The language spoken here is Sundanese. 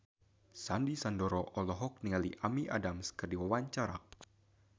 Sandy Sandoro olohok ningali Amy Adams keur diwawancara